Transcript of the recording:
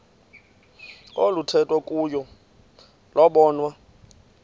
oluthethwa kuyo lobonwa